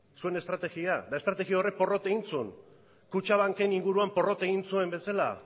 zuen estrategia eta estrategia horrek porrot zuen kutxabanken inguruan porrot egin zuen bezala